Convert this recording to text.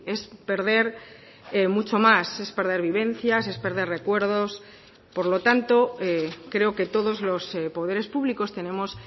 es perder mucho más es perder vivencias es perder recuerdos por lo tanto creo que todos los poderes públicos tenemos